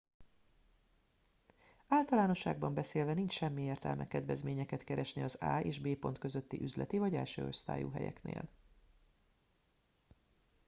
általánosságban beszélve nincs semmi értelme kedvezményeket keresni az a és b pont közötti üzleti vagy elsőosztályú helyeknél